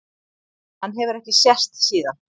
Hann hefur ekki sést síðan.